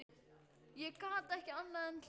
Ég gat ekki annað en hlegið.